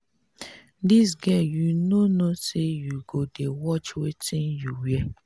dis girl you no know say you go dey watch wetin you wear